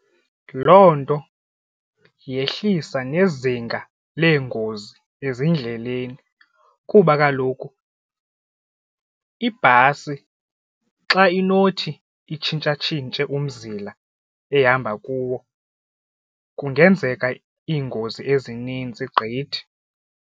Loo nto yehlisa nezinga leengozi ezindleleni kuba kaloku ibhasi xa inothi itshintshatshintshe umzila ehamba kuwo kungenzeka iingozi ezininzi gqithi.